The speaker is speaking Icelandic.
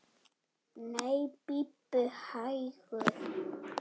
Nei, bíddu hægur!